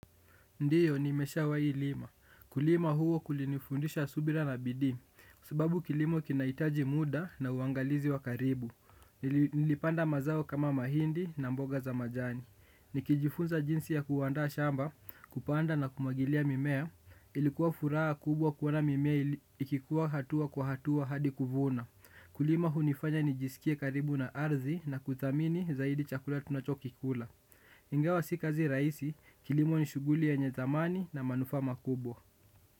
Ndiyo, nimeshawahi lima. Kulima huo kulinifundisha subira na bidii, sababu kilimo kinahitaji muda na uangalizi wa karibu. Nilipanda mazao kama mahindi na mboga za majani. Nikijifunza jinsi ya kuandaa shamba, kupanda na kumwagilia mimea, ilikuwa furaha kubwa kuona mimea ikikuwa hatua kwa hatua hadi kuvuna. Kulima hunifanya nijisikie karibu na ardhi na kuthamini zaidi chakula tunachokikula. Ingawa si kazi rahisi kilimo ni shughuli yenye thamani na manufaa makubwa.